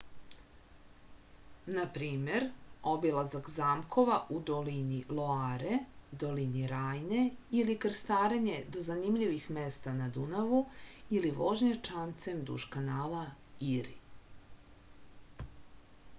na primer obilazak zamkova u dolini loare dolini rajne ili krstarenje do zanimljivih mesta na dunavu ili vožnja čamcem duž kanala iri